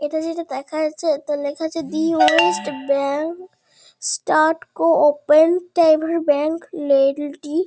এটা যেটা দেখা যাচ্ছে এতে লেখা আছে the west bank state cooperative bank নেল টি ।